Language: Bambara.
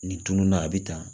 Nin tununa a bɛ tan